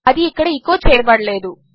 అదిఇక్కడ echo చేయబడలేదు